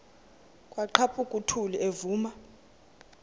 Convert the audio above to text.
kwaqhaphuk uthuli evuma